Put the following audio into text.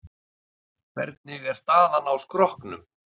Hvernig er staðan á skrokknum?